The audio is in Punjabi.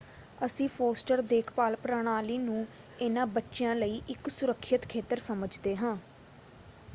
ਅਸੀਂ ਫੋਸਟਰ ਦੇਖਭਾਲ ਪ੍ਰਣਾਲੀ ਨੂੰ ਇਹਨਾਂ ਬੱਚਿਆਂ ਲਈ ਇੱਕ ਸੁਰੱਖਿਅਤ ਖੇਤਰ ਸਮਝਦੇ ਹਾਂ।